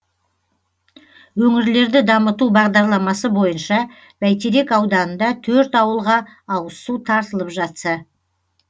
өңірлерді дамыту бағдарламасы бойынша бәйтерек ауданында төрт ауылға ауызсу тартылып жатса